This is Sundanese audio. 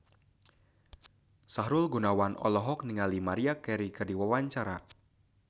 Sahrul Gunawan olohok ningali Maria Carey keur diwawancara